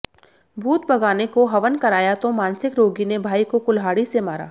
भूत भगाने को हवन कराया तो मानसिक रोगी ने भाई को कुल्हाड़ी से मारा